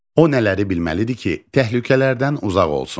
O nələri bilməli idi ki, təhlükələrdən uzaq olsun?